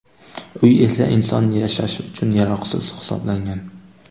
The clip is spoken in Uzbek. Uy esa inson yashashi uchun yaroqsiz hisoblangan.